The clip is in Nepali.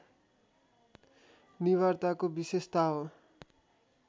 निवार्ताको विशेषता हो